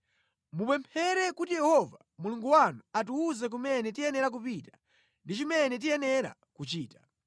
Mupemphere kuti Yehova Mulungu wanu atiwuze kumene tiyenera kupita ndi chimene tiyenera kuchita.”